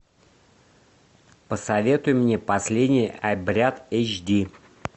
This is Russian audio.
посоветуй мне последний обряд эйч ди